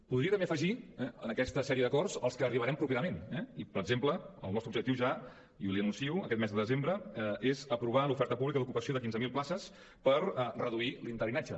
podria també afegir en aquesta sèrie d’acords als que arribarem properament eh per exemple el nostre objectiu ja i li ho anuncio aquest mes de desembre és aprovar l’oferta pública d’ocupació de quinze mil places per reduir l’interinatge